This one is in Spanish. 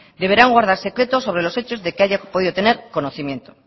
deberán guardar secreto sobre los hechos de que haya podido tener conocimiento